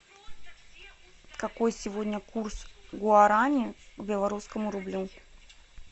какой сегодня курс гуарани к белорусскому рублю